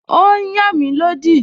Ó n yàn mí lódì